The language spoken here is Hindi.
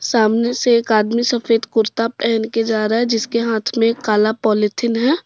सामने से एक आदमी सफेद कुर्ता पहन के जा रहा है जिसके हाथ में एक काला पॉलिथीन है।